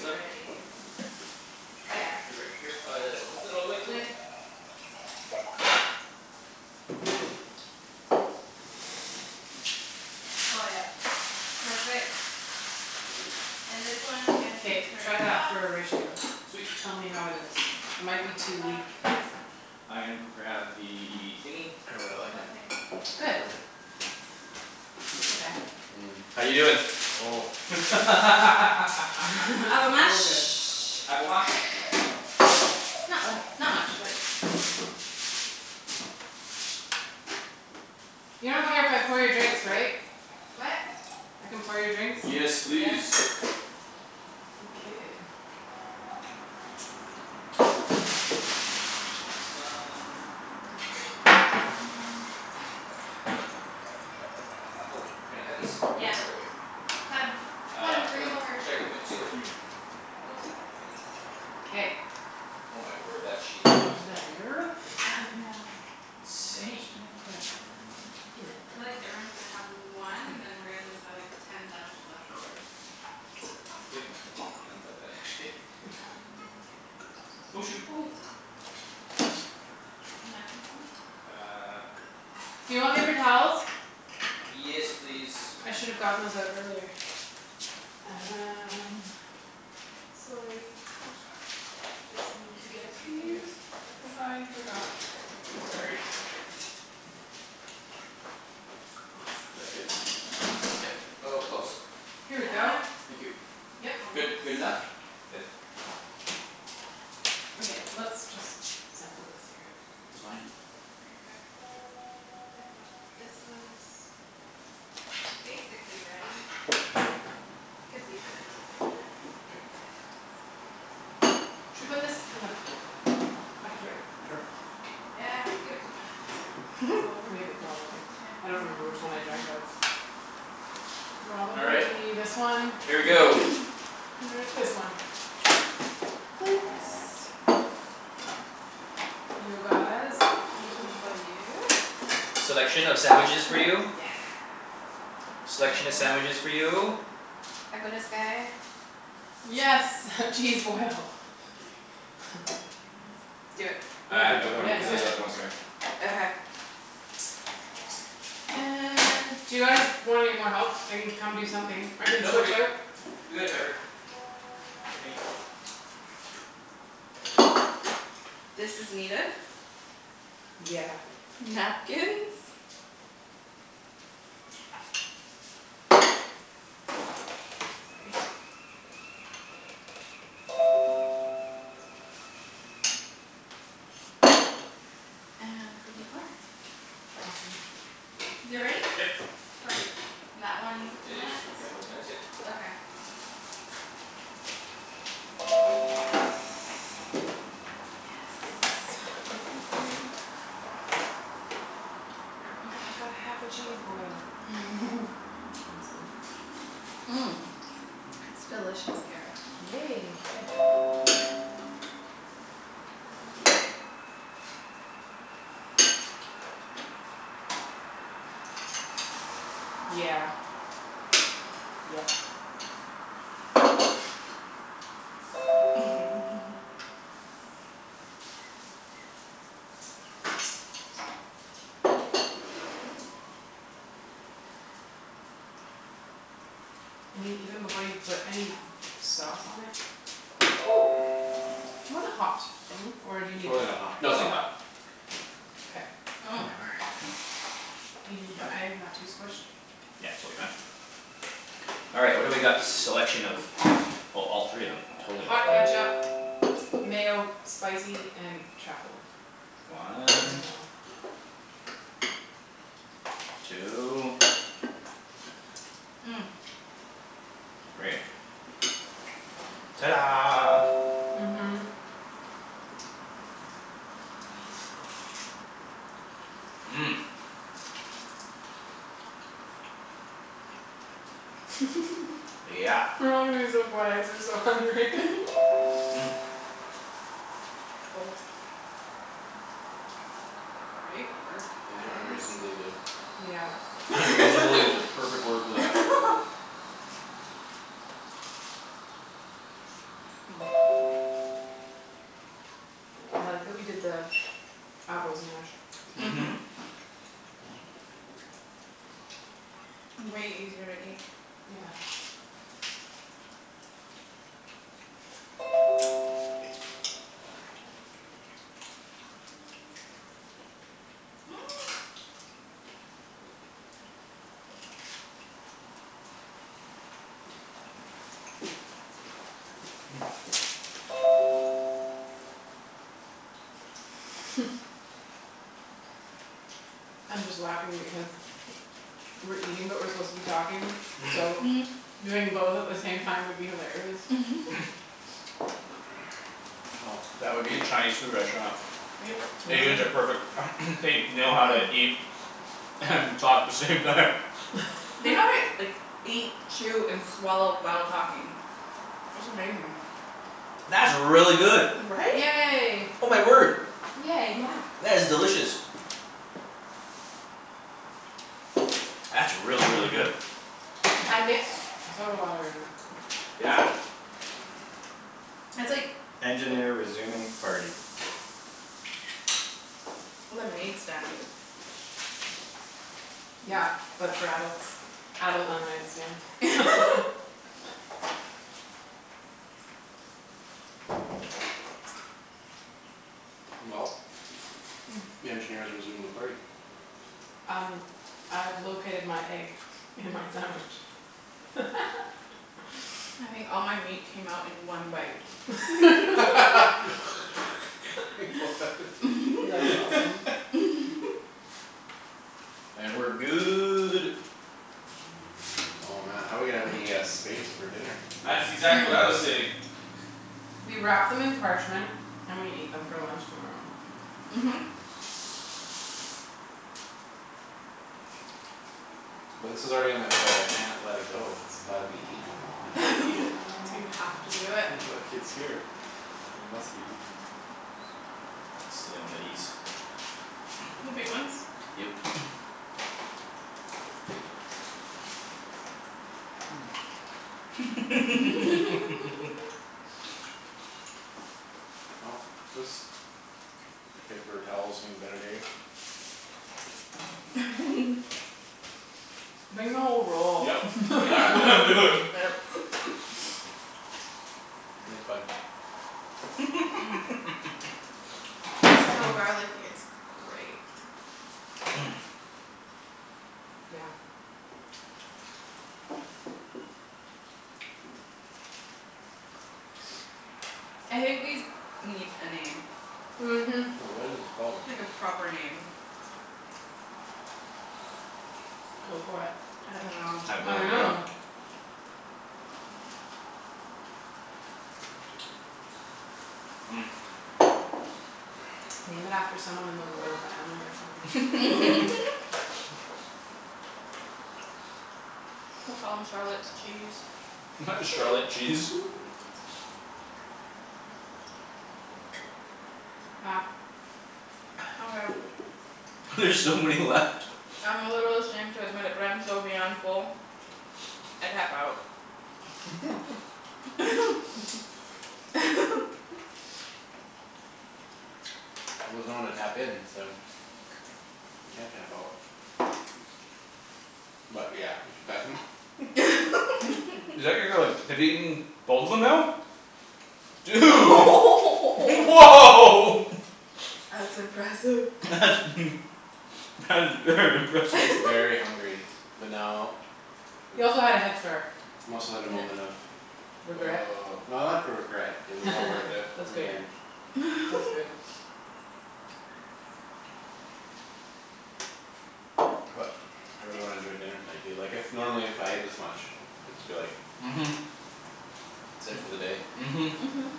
done? ready. Oh yeah. They're ready uh all the way, go. Lid Oh yep. Perfect. And this one can be K turned try that off. for a ratio. Sweet Tell me how it is. It Put it might be on the too back weak. I gonna go grab the thingy I really like What it. thing? It's Good. perfect. Okay. How you doin'? Avo Oh mash. good Avo mash. Not uh not much but You don't care if I pour your drinks Sorry. right? What? I can pour your drinks? Yes Yes please. Okay That's done. Oh can I cut these? Yeah Should I wait? cut 'em cut 'em Uh cut bring 'em 'em over. should I cut 'em in two or three? Go two K K Oh my word that cheese block is like There I know How much Insane. did I put in it? Feel like everyone's gonna have one and then we're just gonna have like ten sandwiches left over. Yep. I don't doubt that actually Oh shoot. Napkin somewhere? Uh Do you want paper towels? Yes please. I should've gotten those out earlier. Um Sorry Just need to get these cuz I forgot before. Is Awesome that good? Yep. Oh close. Here we go. Yeah Thank you. Yep. Good. Almost Good enough? Good? Okay, let's just sample this here. Just behind you. Okay Yep nope this one's Basically ready. Could leave it in another minute. K Let's see what this one's doing. Should put this in the Not yet. back Almost here. ready? Sure Yeah give it two minutes. K Let's go over. We have a problem. K I and don't then I'll remember come which check one in I two drank minutes. out of. All right, Probably this one. here we Wait. go. This one. Plates You guys One for you Selection of sandwiches for you. Yes Selection of sandwiches for you. I got us guy Yes cheese boil. Do it. Yeah Uh Think no we got I'm yeah it. cuz yeah there's other ones coming. Okay okay. And Do you guys want any more help? I can come do something. I can No we're switch good. out We got it covered. I think. This is needed. Yeah Napkins. Sorry And Awesome Is it ready? Yep. Perfect. That one, It two just minutes? couple of minutes yeah. Okay Yes Yes Oh yeah I got half a cheese boil. That's awesome. It's delicious, Kara. Yay good Yeah Yep I mean even before you put any sauce on it Do you wanna hot thing? Or do you It's need really not hot. No it's not probably hot. not K Oh my word Are you yummy okay? Not too squished? Yeah totally fine. All right, what do we got selection of? Oh totally all three of them. Totally all Hot three. ketchup, mayo, spicy, and truffle. One. Mayo Two. Three. Ta da Mhm Mhm Yeah We're all gonna be so quiet cuz we're so hungry These are unreasonably good. Yeah "Unreasonably" is the perfect word for that. I like that we did the avos mashed Mhm. Mhm Way easier to eat. Yeah I'm just laughing because We're eating but we're supposed to be talking so Doing both at the same time would be hilarious Well that would be a Chinese food restaurant. Yep Really? Asians are perfect they know how to eat And talk the same time. They know how to like eat chew and swallow while talking. That's amazing. That's really good. Right? Yay Oh my word, Yay Yeah that's delicious. That's really really good. I mixed soda water in it. Yeah. That's like Lemonade stand good Yeah. But for adults. Adult lemonade stand. Well, the engineer's resumed the party. Um I've located my egg in my sandwich. I think all my meat came out in one bite. That's awesome. And we're good. Oh man how we gonna have any uh space for dinner? That's exactly what I was saying. We wrap them in parchment and we eat them for lunch tomorrow. Mhm But this is already on my plate I can't let it go it's gotta be eaten. I have to eat it. You have to do it. Look it's here. It must be eaten. Stealing one of these. The big ones? Yep Well this paper towel's seen better days. Bring the whole roll. Yup, Yeah. it's exactly what I'm doing. Yep. Thanks bud So garlicky it's great Yeah I think these need a name Mhm What is this called? Like a proper name. Go for it. I dunno I have no I idea. know. Name it after someone in the royal family or something We'll call 'em Charlotte's cheese. Why Charlotte cheese? Ah Okay There's so many left I'm a little ashamed to admit it but I am so beyond full I tap out. He doesn't wanna tap in so You can't tap out. But yeah, we should pack 'em up Is that you're you're like have you eaten both of them now? Dude woah That's impressive. That's that's very impressive. Very hungry, but now He also had a head start. Must let a moment of Regret? no not for regret. It was all worth it That's in the good. end. That's good. But I really wanna enjoy dinner tonight. Du- like if normally if I ate this much I'd just be like Mhm. That's it for the day. Mhm. Mhm